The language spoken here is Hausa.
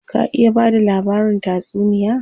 Ka iya bada labarin tatsuniya?